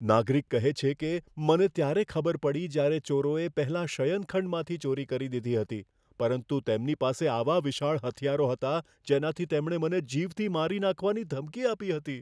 નાગરિક કહે છે કે, મને ત્યારે ખબર પડી જ્યારે ચોરોએ પહેલા શયનખંડમાંથી ચોરી કરી દીધી હતી, પરંતુ તેમની પાસે આવા વિશાળ હથિયારો હતા જેનાથી તેમણે મને જીવથી મારી નાખવાની ધમકી આપી હતી.